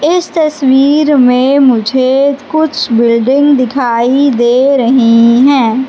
इस तस्वीर में मुझे कुछ बिल्डिंग दिखाई दे रही है।